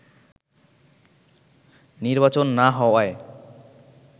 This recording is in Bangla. নির্বাচন না হওয়ায়